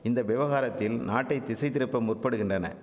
இந்த விவகாரத்தில் நாட்டை திசைதிருப்ப முற்படுகின்றன